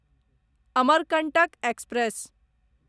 Amarkantak express